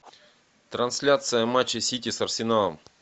трансляция матча сити с арсеналом